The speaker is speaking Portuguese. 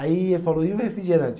Aí ele falou, e o refrigerante?